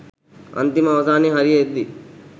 අන්තිම අවසානයේ හරිය එද්දි